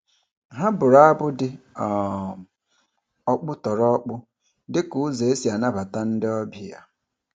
Ha bụrụ abụ dị um ọkpụtọrọkpụ dị ka ụzọ e si anabata ndị ọbịa.